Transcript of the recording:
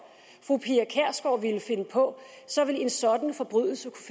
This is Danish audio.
fru pia kjærsgaard ville finde på så ville en sådan forbrydelse